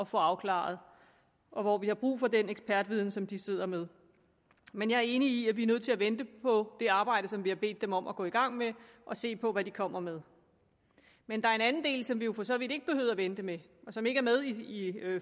få afklaret og hvor vi har brug for den ekspertviden som de sidder med men jeg er enig i at vi er nødt til at vente på det arbejde som vi har bedt dem om at gå i gang med og se på hvad de kommer med men der er en anden del som vi jo for så vidt ikke behøver at vente med og som ikke er med i